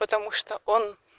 потому что он